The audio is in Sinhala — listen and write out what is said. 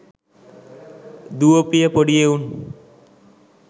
දුවපිය පොඩි එවුන්